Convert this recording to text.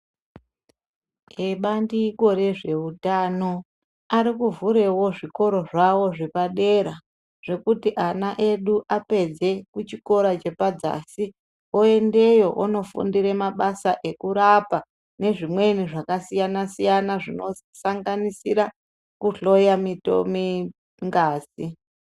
Ebandiko rezveutano ari kuvhurevo zvikoro zvavo zvepadera. Zvekuti ana edu apedze kuchikora chepadzasi, oendeyo onofundira mabasa ekurapa nezvimweni zvakasiyana-siyana, zvinosanganisira kuhloya ngazi.